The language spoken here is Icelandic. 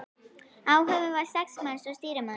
Áhöfnin var sex manns og stýrimaður.